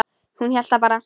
Hún hélt það bara.